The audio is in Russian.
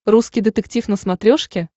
русский детектив на смотрешке